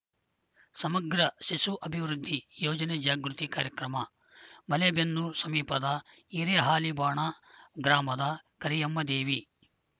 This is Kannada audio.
ಸಮಗ್ರ ಶಿಶು ಅಭಿವೃದ್ಧಿ ಯೋಜನೆ ಜಾಗೃತಿ ಕಾರ್ಯಕ್ರಮ ಮಲೇಬೆನ್ನೂರು ಸಮೀಪದ ಹಿರೇಹಾಲಿವಾಣ ಗ್ರಾಮದ ಕರಿಯಮ್ಮದೇವಿ